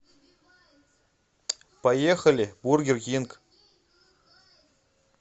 поехали бургер кинг